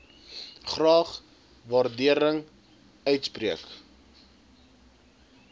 graag waardering uitspreek